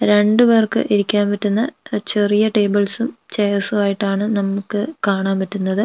രണ്ടുപേർക്ക് ഇരിക്കാൻ പറ്റുന്ന അ ചെറിയ ടേബിൾസും ചെയർസും ആയിട്ടാണ് നമുക്ക് കാണാൻ പറ്റുന്നത്.